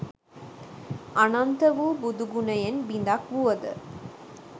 අනන්ත වු බුදු ගුණයෙන් බිඳක් වුවද